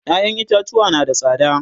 ƴaƴan itatuwa na da tsada